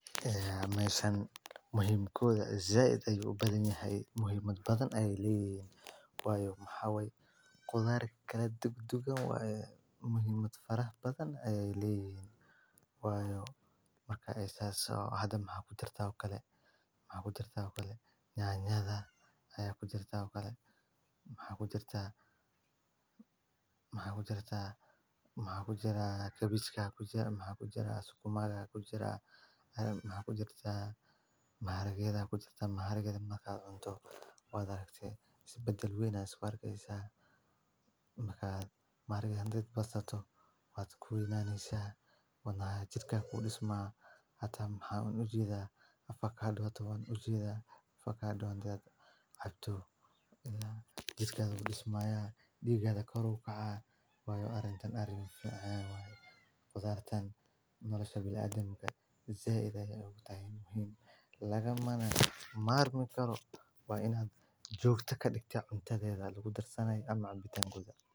Meshaan muhimkoda zaid ayuu badan yahay muhimad badan ay leeyin. Way xawey qodar kala duud duugan way muhiimad farax badan ayay leeyiyn. Waayo markaa isaga soo hadan mahadsenetaa kale ma ahdaytaa kale. Nyada ayaa ku jirta kale, ma ahdaysataa, ma ahdysataa, ma ahdysataa, ma ahdysataa, ma ahdysataa, ma ahdysataa. Suumaya ku jira ma ahdysataa mara geda ku jiratama har gal makadamto wada haysay isbeddel wey na is war geyisa. Makaa mar gan dirta basta to wad ku weynaniisaa. Wana jidhka fuudhisma hata han ujiida faka dhootu ujiida faka doonta abdu ilaa iddadan dhismaya dhiigga korow ka caai waayo arintan arin fanaa. Way khuda tan nolosha bilaa adagga zeeday ugu taayin muhiim laga maana maarmi karo. Way inaad joogto kadib ta cuntadeeda lagu darshanay ama cunbitaan guda.